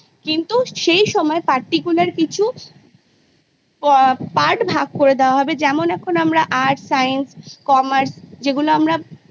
কিন্তু সেই সময় Particular কিছু পা Part ভাগ করে দেওয়া হবে যেমন এখন আমরা Arts Science Commerce যেগুলো আমরা